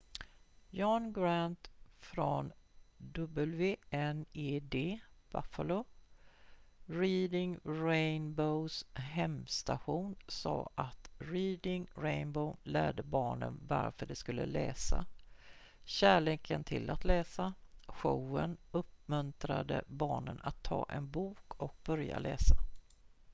"john grant från wned buffalo reading rainbow's hemstation sa att "reading rainbow lärde barnen varför de skulle läsa ... kärleken till att läsa - [showen] uppmuntrade barnen att ta en bok och börja läsa.""